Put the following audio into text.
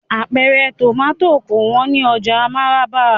Apẹ̀rẹ̀ tomati kò wón ni oja Maraba.